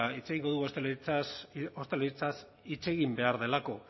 hitz egingo dugu ostalaritzaz hitz egin behar delako